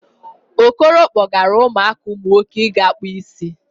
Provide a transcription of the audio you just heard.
Okoro kpọgara ụmụaka umunwoke ịga kpụ isi